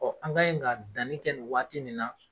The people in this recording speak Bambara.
an ga ye nka danni kɛ nin waati min na